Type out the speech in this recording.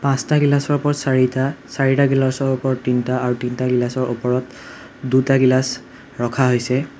পাঁচটা গিলাছৰ ওপৰত চাৰিটা চাৰিটা গিলাছৰ ওপৰত তিনিটা আৰু তিনিটা গিলাছৰ ওপৰত দুটা গিলাছ ৰখা হৈছে।